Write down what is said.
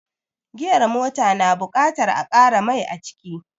Giyar mota ta na buƙatar a ƙara mai aciki